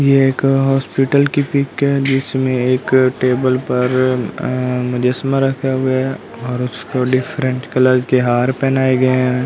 ये एक हॉस्पिटल की पिक है जिसमें एक टेबल पर मुजस्समा रखा हुआ है और उसको डिफरेंट कलर के हार पहनाए गए हैं।